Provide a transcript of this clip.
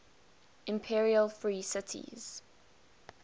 imperial free cities